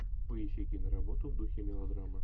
поищи киноработу в духе мелодрама